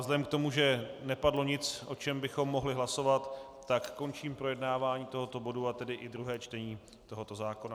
Vzhledem k tomu, že nepadlo nic, o čem bychom mohli hlasovat, tak končím projednávání tohoto bodu, a tedy i druhé čtení tohoto zákona.